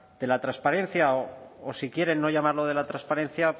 de la transparencia o si quieren no llamarlo de la transparencia